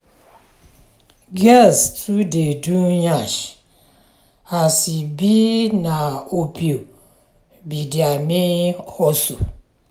girls too dey do nyash as e be na opio be dia main hustle.